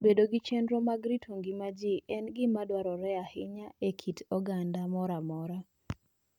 Bedo gi chenro mag rito ngima ji en gima dwarore ahinya e kit oganda moro amora.